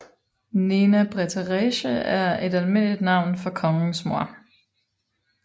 Nena Mbretëreshë er et almindeligt navn for kongens mor